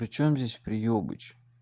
причём здесь приебыч